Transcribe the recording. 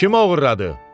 Kim oğurladı?